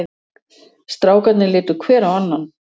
Strákarnir litu hver á annan.